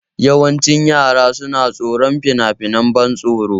Yawancin yara suna tsoron finafinan ban tsoro.